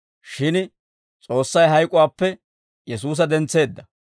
Shin S'oossay hayk'uwaappe Yesuusa dentseedda.